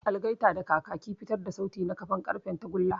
Algaita da kakaki fitar da sauti ta kafan ƙarfen tagulla.